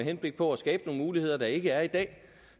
henblik på at skabe nogle muligheder der ikke er i dag